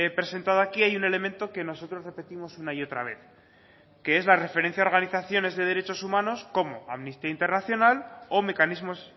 presentado aquí hay un elemento que nosotros repetimos una y otra vez que es la referencia de organizaciones de derechos humanos como amnistía internacional o mecanismos